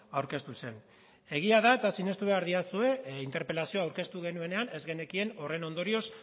aurkeztu zen egia da eta sinestu behar didazue interpelazioa aurkeztu genuenean ez genekien horren ondorioz